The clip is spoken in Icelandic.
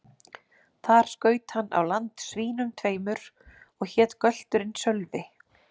Þar skaut hann á land svínum tveimur, og hét gölturinn Sölvi.